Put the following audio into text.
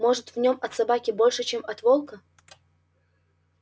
может в нем от собаки больше чем от волка